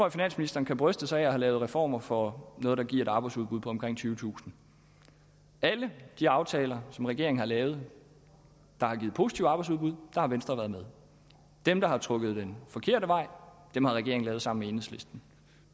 at finansministeren kan bryste sig af at have lavet reformer for noget der giver et arbejdsudbud på omkring tyvetusind alle de aftaler som regeringen har lavet der har givet positive arbejdsudbud har venstre været med i dem der har trukket den forkerte vej har regeringen lavet sammen med enhedslisten